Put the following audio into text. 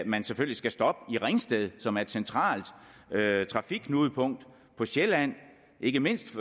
man selvfølgelig skal stoppe i ringsted som er et centralt trafikknudepunkt på sjælland ikke mindst